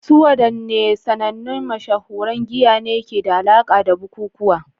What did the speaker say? Su wadanne sanannun mashahuran giya ne ke da alaƙa da bukukuwa?